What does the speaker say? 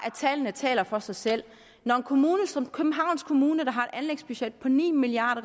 at tallene taler for sig selv når en kommune som københavns kommune som har et anlægsbudget på ni milliard